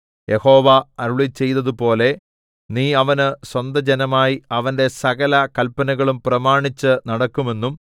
യഹോവ അരുളിച്ചെയ്തതുപോലെ നീ അവന് സ്വന്തജനമായി അവന്റെ സകല കല്പനകളും പ്രമാണിച്ചു നടക്കുമെന്നും